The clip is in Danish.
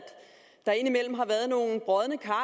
der indimellem har været nogle brodne kar